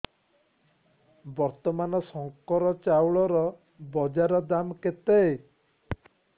ବର୍ତ୍ତମାନ ଶଙ୍କର ଚାଉଳର ବଜାର ଦାମ୍ କେତେ